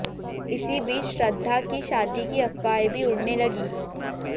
इसी बीच श्रद्धा की शादी की अफवाहें भी उड़ने लगी